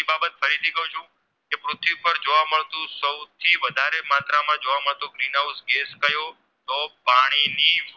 જોવા મળતું સૌથી વધારે માત્રા માં જોવા મળતું Green House Gas કયું પાણી ની